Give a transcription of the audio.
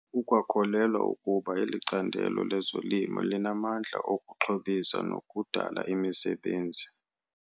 Ukwakholelwa ukuba eli candelo lezolimo linamandla okuxhobisa nokudala imisebenzi.